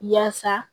Yaasa